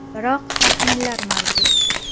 Biroq taxminlar mavjud.